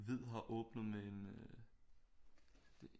Hvid har åbnet med en